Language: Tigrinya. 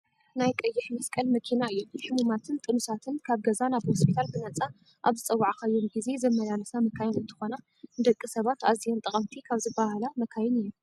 ናይ ቀይሕ መስቀል መኪና እየን። ሕሙማትን ጥኑሳትን ካብ ገዛ ናብ ሆስፒታል ብነፃ ኣብ ዝፀወዓካዮም ግዜ ዘመላልሳ መካይን እንትኮና ንደቂ ሰባት ኣዝየን ጠቀምቲ ካብ ዝባሃላ መካይን እየን።